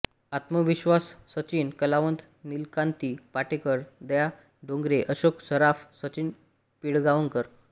आत्मविश्वाससचिन कलावंत नीलकांती पाटेकर दया डोंगरे अशोक सराफ सचिन पिळगांवकर